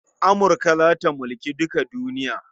Amurka za ta mulki duka duniya.